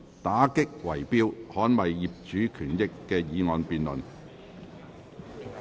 "打擊圍標，捍衞業主權益"的議案辯論。